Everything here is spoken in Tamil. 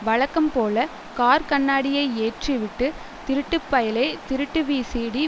வழக்கம்போல கார் கண்ணாடியை ஏற்றிவிட்டு திருட்டு பயலே திருட்டு விசிடி